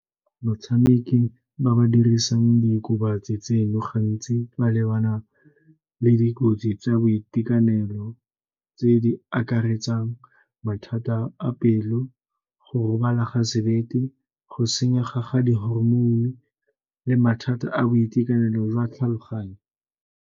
Motshameki ba ba dirisang diokobatsi tseno gantsi ba lebana le dikotsi tsa boitekanelo tse di akaretsang mathata a pelo, go robala ga sebete, go senyega ga di-hormone le mathata a boitekanelo jwa tlhaloganyo.